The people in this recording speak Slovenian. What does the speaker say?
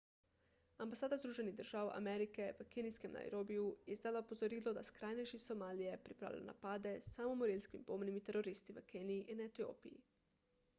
ambasada združenih držav amerike v kenijskem nairobiju je izdala opozorilo da skrajneži iz somalije pripravljajo napade s samomorilskimi bombnimi teroristi v keniji in etiopiji